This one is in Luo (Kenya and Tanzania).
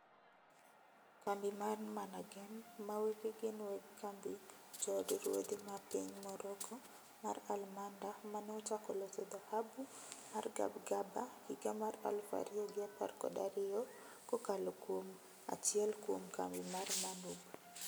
Kambi mar Managem ma wege gin weg kambi mar jo od ruodhi ma piny Morocco mar Almanda maneochako loso dhahabu mar Gabgaba higa mar aluf ariyo gi apar kod ariyo kokalo kuom achiel kuom kambi mar MANUB